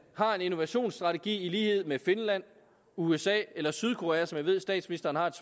har en innovationsstrategi i lighed med finland usa eller sydkorea som jeg ved at statsministeren har et